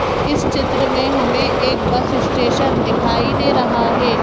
इस चित्र में हमें एक बस स्टेशन दिखाई दे रहा है।